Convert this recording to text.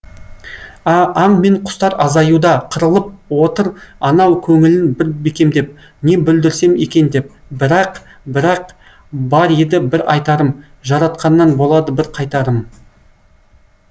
аң мен құстар азаюда қырылып отыр анау көңілін бір бекемдеп не бүлдірсем екен деп бірақ бірақ бар еді бір айтарым жаратқаннан болады бір қайтарым